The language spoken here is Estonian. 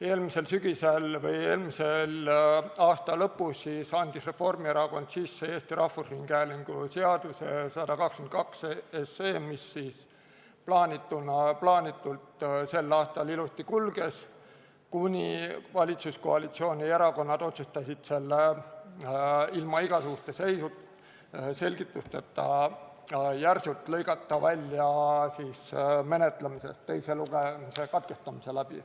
Eelmisel sügisel või eelmise aasta lõpus siis andis Reformierakond sisse Eesti Rahvusringhäälingu seaduse eelnõu 122, mis siis plaanitult sel aastal ilusti kulges, kuni valitsuskoalitsiooni erakonnad otsustasid selle ilma igasuguste selgitusteta järsult lõigata menetlemisest välja ja teise lugemise katkestada.